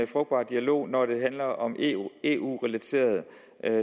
frugtbar dialog når det handler om eu eu relaterede